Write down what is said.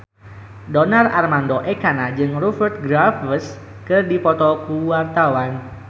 Donar Armando Ekana jeung Rupert Graves keur dipoto ku wartawan